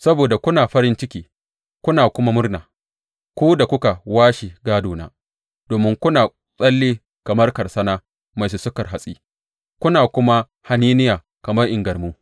Saboda kuna farin ciki kuna kuma murna, ku da kuka washe gādona, domin kuna tsalle kamar karsana mai sussuka hatsi kuna kuma haniniya kamar ingarmu.